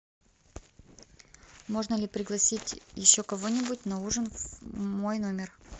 можно ли пригласить еще кого нибудь на ужин в мой номер